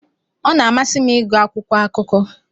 Ọ na-amasị m ịgụ akwụkwọ akụkọ.